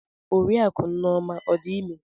Oriakụ nneoma ọ dị ime?